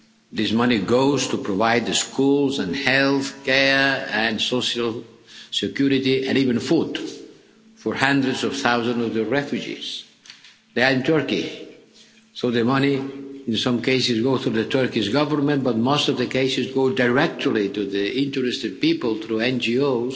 things. This money goes to provide schools and health care and social security, and even food, for hundreds of thousands of the refugees that are in Turkey. So the money in some cases goes through the Turkish Government, but in most of the cases it goes directly to the interested people through